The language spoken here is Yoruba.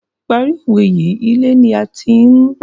Parí owé yìí, ilé ni a ti ń........